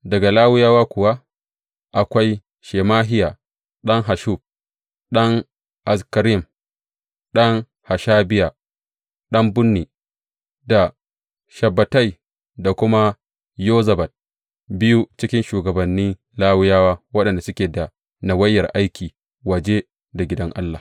Daga Lawiyawa kuwa akwai, Shemahiya ɗan Hasshub, ɗan Azrikam, ɗan Hashabiya, ɗan Bunni, da Shabbetai, da kuma Yozabad, biyu cikin shugabanni Lawiyawa waɗanda suke da nawayar aiki waje da gidan Allah.